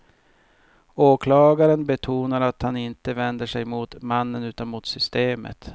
Åklagaren betonar att han inte vänder sig mot mannen utan mot systemet.